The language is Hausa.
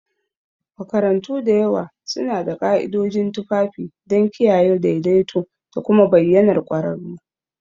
Makarantu da yawa suna da ka'idojin tufafi don kiyaye daidaito da kuma bayyanar ƙwararru.